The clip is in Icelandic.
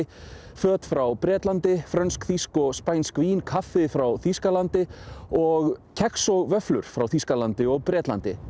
föt frá Bretlandi frönsk þýsk og spænsk vín kaffi frá Þýskalandi og kex og vöfflur frá Þýskalandi og Bretlandi